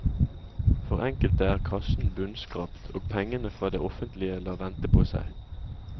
For enkelte er kassen bunnskrapt, og pengene fra det offentlige lar vente på seg.